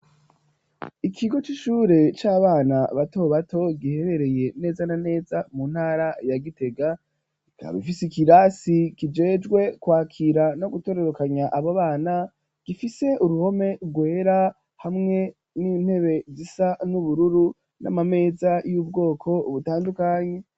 Ikigo c'ishure c'abana bato bato giherereye neza na neza mu ntara ya Gitega, ikaba ifise ikirasi kijejwe kwakira no gutorerokanya abo bana, gifise uruhome rwera hamwe n'intebe zisa n'ubururu, n'amameza y'ubwoko butandukanye.